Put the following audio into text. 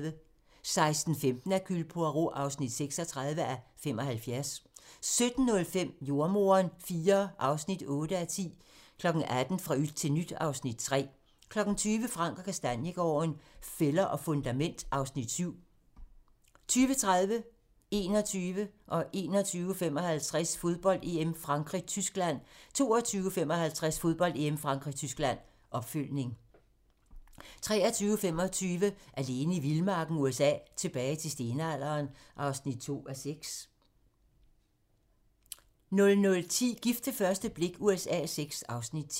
16:15: Hercule Poirot (36:75) 17:05: Jordemoderen IV (8:10) 18:00: Fra yt til nyt (Afs. 3) 20:00: Frank & Kastaniegaarden - Fælder og fundament (Afs. 7) 20:30: Fodbold: EM - Frankrig-Tyskland, optakt 21:00: Fodbold: EM - Frankrig-Tyskland 21:55: Fodbold: EM - Frankrig-Tyskland 22:55: Fodbold: EM - Frankrig-Tyskland, opfølgning 23:25: Alene i vildmarken USA: Tilbage til stenalderen (2:6) 00:10: Gift ved første blik USA VI (Afs. 10)